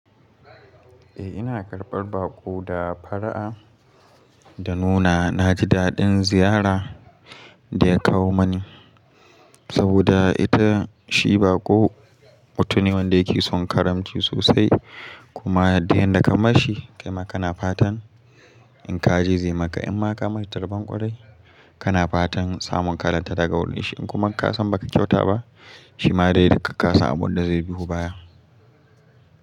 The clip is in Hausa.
Eh ina karɓar baƙo da fara'a, da nuna na ji daɗin ziyara. Da ya kawo mani, saboda ita shi baƙo mutum ne wanda yake son karamci sosai. Kuma duk yanda ka mashi kai ma kana fatan in ka je zai maka, in ma ka mai tarban kwarai kana fatan samun kalarta daga wurin shi. In kuma ka san ba ka kyauta ba shi ma dai duka ka sa abun da zai biyo baya.